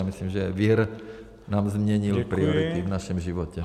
Já myslím, že vir nám změnil priority v našem životě.